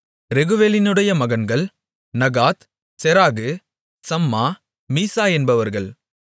ரெகுவேலினுடைய மகன்கள் Nahath Zerah Shammah Mizzah என்பவர்கள்